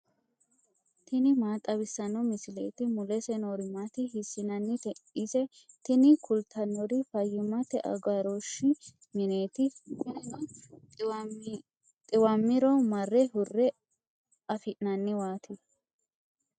tini maa xawissanno misileeti ? mulese noori maati ? hiissinannite ise ? tini kultannori fayyimmate agarooshshi mineeti. kunino xiwammiro marre hurre afi'nanniwaati.